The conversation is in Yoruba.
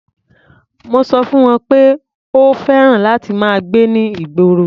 Mo sọ fún wọn pé o ò fẹ́ràn láti máa gbé ní ìgborr.